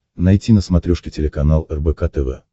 найти на смотрешке телеканал рбк тв